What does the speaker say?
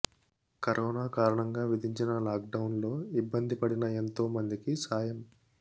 corona కారణంగా విధించిన లాక్డౌన్లో ఇబ్బంది పడిన ఎంతో మందికి సాయం